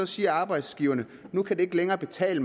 siger arbejdsgiverne nu kan det ikke længere betale